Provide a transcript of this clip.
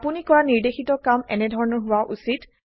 আপোনি কৰা নিৰ্দেশিত কাম এনেধৰনৰ হোৱা উচিত